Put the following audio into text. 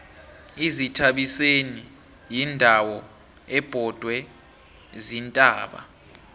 izithabiseni yindawo ebhodwe ziintaba